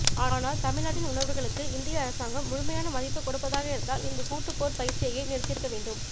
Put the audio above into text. ஆனால் தமிழ்நாட்டின் உணர்வுகளுக்கு இந்திய அரசாங்கம் முழுமையான மதிப்புக் கொடுப்பதாக இருந்தால் இந்தக் கூட்டுப் போர்ப் பயிற்சியையே நிறுத்தியிருக்க வேண்டும்்